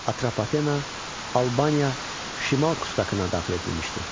Atropatena, Albaniya Şimal kustakına daxil edilmişdi.